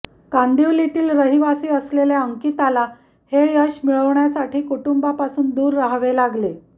कांदिवलीतील रहिवासी असलेल्या अंकितला हे यश मिळवण्यासाठी कुटुंबापासून दूर रहावे लागले